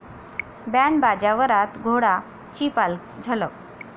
band बाजा वरात घोडा...'ची झलक